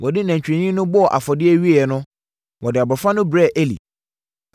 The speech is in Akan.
Wɔde nantwinini no bɔɔ afɔdeɛ wieeɛ no, wɔde abɔfra no brɛɛ Eli.